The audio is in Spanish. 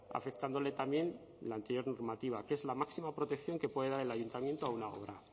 afectándole también la anterior normativa que es la máxima protección que puede dar el ayuntamiento a una obra